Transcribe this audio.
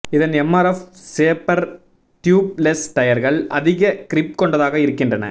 இதன் MRF Zapper tubeless டயர்கள் அதிக கிரிப் கொண்டதாக இருக்கின்றன